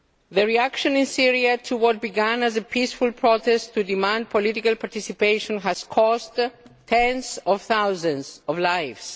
The reaction in Syria to what began as a peaceful protest to demand political participation has cost tens of thousands of lives.